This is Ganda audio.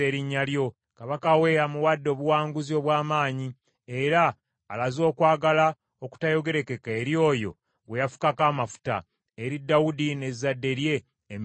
Kabaka we amuwadde obuwanguzi obw’amaanyi, era alaze okwagala okutayogerekeka eri oyo gwe yafukako amafuta, eri Dawudi n’ezzadde lye emirembe gyonna.”